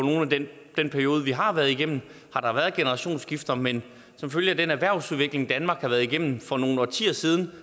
den periode vi har været igennem har der været generationsskifter men som følge af den erhvervsudvikling danmark har været igennem for nogle årtier siden